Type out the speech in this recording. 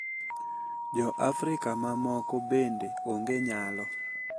Jo Afrika mamoko bende onge nyalo.